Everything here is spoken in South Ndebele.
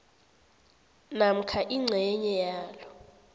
namkha ingcenye yalo